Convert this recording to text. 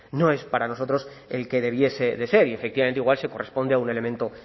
no es para nosotros el que debiese de ser y efectivamente igual se corresponde a un elemento